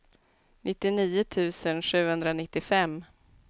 nittionio tusen sjuhundranittiofem